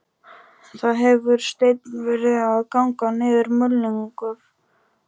Það hefur steinn verið að ganga niður, mulningur.